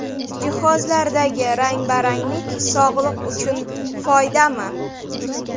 Jihozlardagi rang-baranglik sog‘liq uchun foydami?.